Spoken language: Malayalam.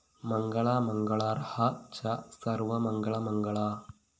മംഗളാ മംഗളാര്‍ഹാ ച സര്‍വമംഗളമംഗളാ